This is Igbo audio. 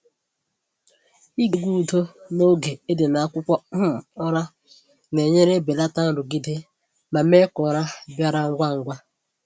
Ịge egwu udo n’oge ị dị n’akwụkwọ um ụra na-enyere belata nrụgide ma mee ka ụra bịara ngwa ngwa.